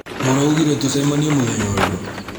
Mũraugire tũcemanie mũthenya ũrĩkũ?